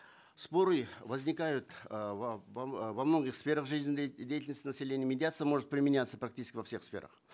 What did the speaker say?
споры возникают э во многих сферах населения медиация может применяться практически во всех сферах